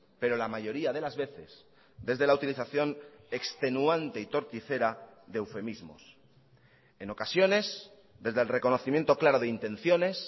pero la mayoría de las veces desde la utilización extenuante y torticera de eufemismos en ocasiones desde el reconocimiento claro de intenciones